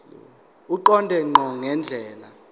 eqonde ngqo ngendlela